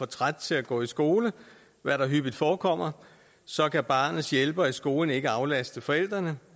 træt til at gå i skole hvad der hyppigt forekommer så kan barnets hjælper i skolen ikke aflaste forældrene